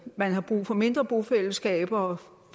man har brug for mindre bofællesskaber